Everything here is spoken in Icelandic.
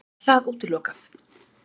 Er það útilokað?